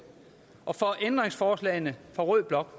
og for ændringsforslagene fra rød blok